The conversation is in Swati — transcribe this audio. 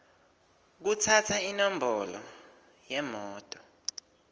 kutsatsa inombolo yemoto